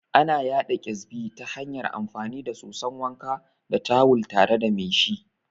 Ana yaɗa Ƙyazbi ta hanyar amfani da soson wanka da tawul tare da mai shi